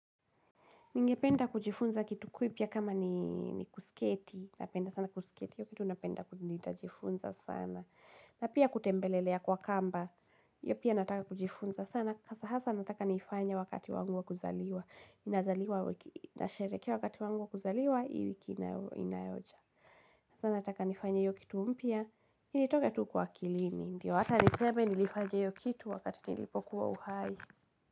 Ningependa kujifunza kitu kipya kama ni kusketi, napenda sana kusketi, hiyo kitu napenda nitajifunza sana. Na pia kutembelelea kwa kamba, hio pia nataka kujifunza sana, hasa hasa nataka niifanye wakati wangu wa kuzaliwa. Nazaliwa wiki hii, nasherehekia wakati wangu wa kuzaliwa, hii wiki inayoja. Hasa nataka nifanye hiyo kitu mpya, initoke tu kwa akilini, ndio hata niseme nilifanya hiyo kitu wakati nilipokuwa uhai.